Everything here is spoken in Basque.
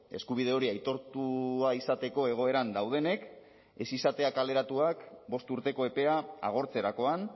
eskubide hori aitortua izateko egoeran daudenek ez izatea kaleratuak bost urteko epea agortzerakoan